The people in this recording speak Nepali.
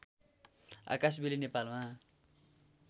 आकाशबेली नेपालमा